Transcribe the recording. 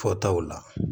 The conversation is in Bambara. Fɔtaw la